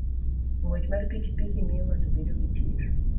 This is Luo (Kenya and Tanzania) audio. Ng'wech mar pikipiki miyo ng'ato bedo gi chir.